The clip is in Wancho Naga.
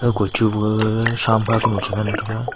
kochu ma gag shamkha konu cha ngan taga.